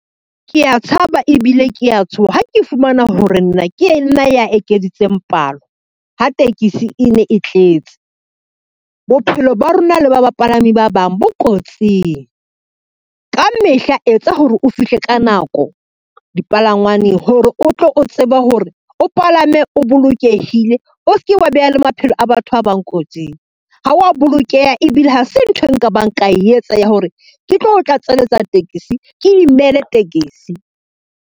Kea tshaba ebile kea tshoha ha ke fumana hore nna, ke nna ya ekeditseng palo ha tekesi e ne e tletse, bophelo ba rona le ba bapalami ba bang bo kotsing. Ka mehla etsa hore o fihle ka nako dipalangwaneng hore o tlo o tseba hore o palame o bolokehile, o ske wa beha le maphelo a batho ba bang kotsing, ha wa bolokeha ebile ha se ntho e nka bang ka etsa ya hore ke tlo tlatselletsa tekesi, ke imele tekesi.